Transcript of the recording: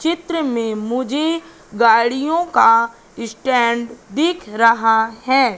चित्र में मुझे गाड़ियों का स्टैंड दिख रहा है।